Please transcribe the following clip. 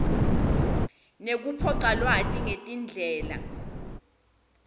nekucopha lwati ngetindlela